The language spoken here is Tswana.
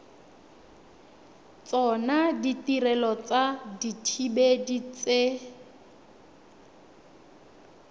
tsona ditirelo tsa dithibedi tse